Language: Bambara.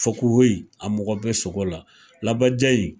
Fakuwoye a mɔgɔ be sogo la labaja in